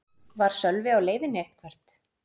Var Sölvi á leiðinni eitthvert?